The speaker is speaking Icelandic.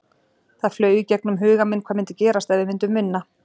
Það flaug í gegnum huga minn hvað myndi gerast ef við myndum vinna?